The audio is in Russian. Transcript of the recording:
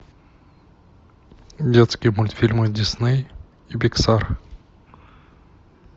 детские мультфильмы дисней и пиксар